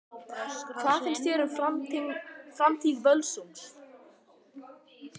Hvað finnst þér um framtíð Völsungs?